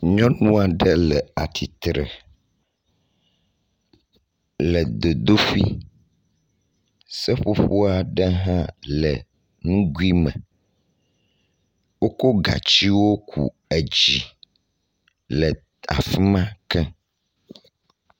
Nyɔnua ɖe le atsitre le dzodoƒe. Seƒoƒo aɖe hã le nugui me. Wokɔ gatsiwo ku dzi le afi ma ke.